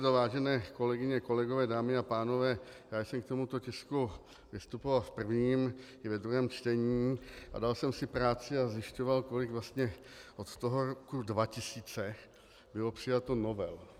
Vážené kolegyně, kolegové, dámy a pánové, já jsem k tomuto tisku vystupoval v prvním i ve druhém čtení a dal jsem si práci a zjišťoval, kolik vlastně od toho roku 2000 bylo přijato novel.